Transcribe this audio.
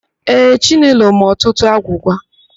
Ee, Chinelo ma ọtụtụ agwụgwa.